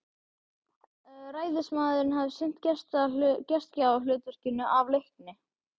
Ræðismaðurinn hafði sinnt gestgjafahlutverkinu af leikni.